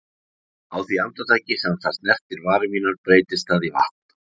Á því andartaki sem það snertir varir mínar breytist það í vatn.